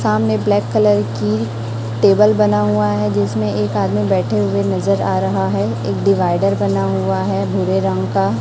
सामने black colour की table बना हुआ है जिसमें एक आदमी बैठे हुए नजर आ रहा है एक डिवाइडर बना हुआ है भूरे रंग का।